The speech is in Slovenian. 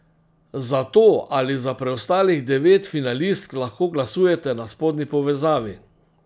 Za to ali za preostalih devet finalistk lahko glasujete na spodnji povezavi.